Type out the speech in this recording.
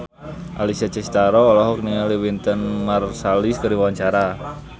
Alessia Cestaro olohok ningali Wynton Marsalis keur diwawancara